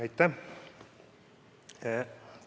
Aitäh!